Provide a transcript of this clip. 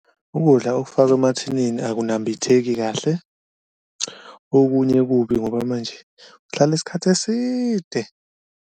Ukudla okufakwe emathinini ukunambitheki kahle, okunye kubi ngoba manje kuhlala isikhathi eside.